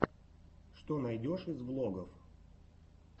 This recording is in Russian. что найдешь из влогов